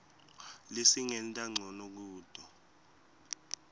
lesingenta ncono kuto